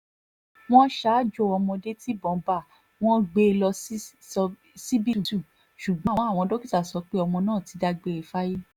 wọ́n ṣaájò ọmọdé tibọ́n bá wọn gbé e lọ ṣíṣíbítú ṣùgbọ́n àwọn dókítà sọ pé ọmọ náà ti dágbére fáyé